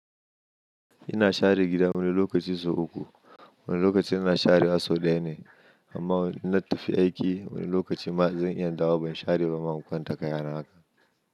Ina share gida wani lokaci sau uku. Wani lokaci ina share wasu ɗaya ne amma inna tafi aiki wani lokacin ma zan iya dawo ban share ba ma in kwanta ka yana haka.